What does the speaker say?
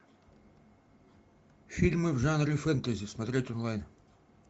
фильмы в жанре фэнтези смотреть онлайн